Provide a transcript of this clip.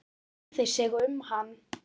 Enginn kærði sig um hann.